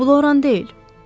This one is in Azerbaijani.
Bu Loran deyil.